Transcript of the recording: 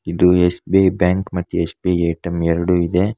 ಇದು S _B I bank ಮತ್ತು S B I A T M ಎರಡು ಇದೆ.